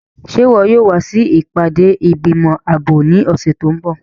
Ṣe iwọ yóò wa si ipade igbimọ aabo ni ọsẹ ti n bọ?